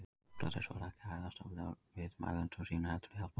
Sókrates var ekki að hæðast að viðmælendum sínum heldur hjálpa þeim.